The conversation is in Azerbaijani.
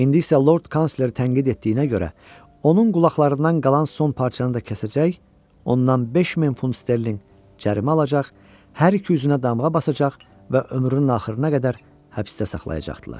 İndi isə Lord Kansleri tənqid etdiyinə görə, onun qulaqlarından qalan son parçanı da kəsəcək, ondan 5000 funt sterlinq cərimə alacaq, hər iki üzünə damğa basacaq və ömrünün axırına qədər həbsdə saxlayacaqdılar.